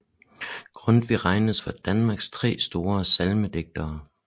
Grundtvig regnes for Danmarks tre store salmedigtere